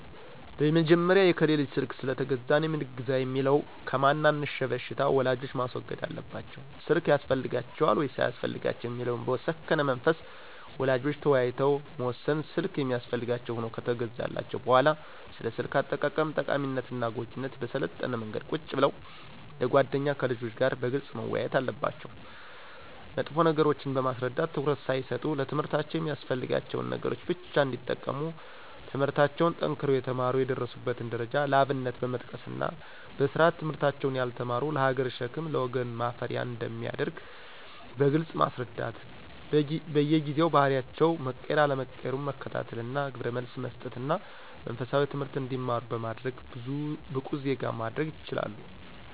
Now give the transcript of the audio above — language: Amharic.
በመጀመሪያ የከሌ ልጅ ስልክ ስለገዛ እኔም ልግዛ የሚለውን ከማን አንሸ በሽታ ወላጆች ማስወገድ አለባቸው ስልክ ያስፈልጋቸዋል ወይስ አያስፈልጋቸውም የሚለውን በሰከነ መንፈስ ወላጆች ተወያይተው መወሰን ስልክ የሚያስፈልጋቸው ሁኖ ከተገዛላቸው በሁዋላ ስለ ስልክ አጠቃቀም ጠቃሚነትና ጎጅነት በሰለጠነ መንገድ ቁጭ ብለው እንደ ጎደኛ ከልጆች ጋር በግልጽ መወያየት አለባቸው መጥፎ ነገሮችን በማስረዳት ትኩረት ሳይሰጡ ለትምህርታቸው የሚያስፈልጋቸውን ነገሮች ብቻ እንዲጠቀሙ ትምለህርታቸውን ጠንክረው የተማሩ የደረሱበትን ደረጃ ለአብነት በመጥቀስና በስርአት ትምህርታቸውን ያልተማሩት ለሀገር ሸክም ለወገን ማፈሪያ አንደሚያደርግ በግልጽ ማስረዳት በየጊዜው ባህሪያቸው መቀየር አለመቀየሩን መከታተልና ግብረመልስ መሰጠትና መንፈሳዊ ትምህርት እንዲማሩ በማድረግ ብቁ ዜጋ ማድረግ ይችላሉ።